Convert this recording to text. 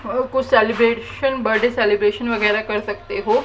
और कुछ celebration birthday celebration वगैरा कर सकते हो।